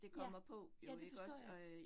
Ja, ja det forstår jeg